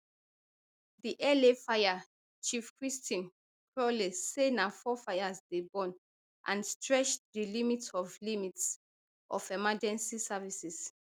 di la fire chief kristin crowley say na four fires dey burn and stretch di limits of limits of emergency services